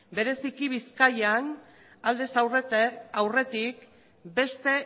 bereziki bizkaian aldez aurretik beste